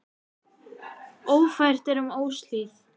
Ófært er um Óshlíð.